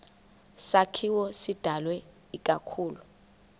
sakhiwo sidalwe ikakhulu